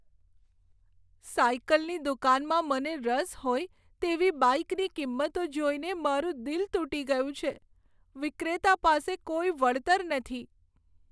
સાઈકલની દુકાનમાં મને રસ હોય તેવી બાઈકની કિંમતો જોઈને મારું દિલ તૂટી ગયું છે. વિક્રેતા પાસે કોઈ વળતર નથી.